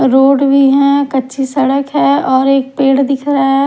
road भी है कच्ची सड़क है और एक पेड़ दिख रहा--